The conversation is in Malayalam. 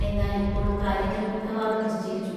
എന്നാൽ ഇപ്പോൾ കാര്യങ്ങൾ മിക്കവാറും നിശ്ചയിച്ചു